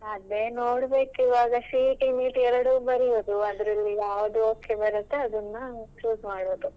ಅದೇ ನೋಡಬೇಕು ಇವಾಗ CET NEET ಎರಡು ಬರಿಯುದು ಅದರಲ್ಲಿ ಯಾವುದ್ okay ಬರುತ್ತೆ ಅದನ್ನ choose ಮಾಡುದು.